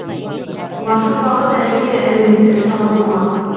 басым бағыт әрине әлеуметтік сала болмақ